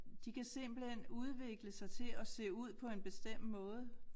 De kan simpelthen udvikle sig til at se ud på en bestemt måde